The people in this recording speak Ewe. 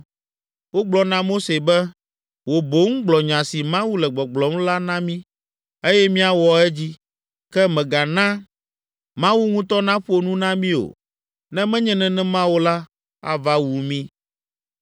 Wogblɔ na Mose be, “Wò boŋ gblɔ nya si Mawu le gbɔgblɔm la na mí, eye míawɔ edzi. Ke mègana Mawu ŋutɔ naƒo nu na mí o; ne menye nenema o la, ava wu mí.”